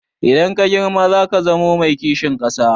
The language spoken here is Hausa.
Idan ka girma zaka zamo mai kishin ƙasa?